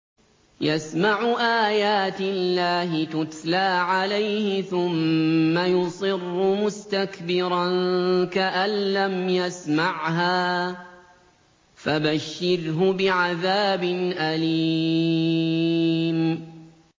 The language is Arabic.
يَسْمَعُ آيَاتِ اللَّهِ تُتْلَىٰ عَلَيْهِ ثُمَّ يُصِرُّ مُسْتَكْبِرًا كَأَن لَّمْ يَسْمَعْهَا ۖ فَبَشِّرْهُ بِعَذَابٍ أَلِيمٍ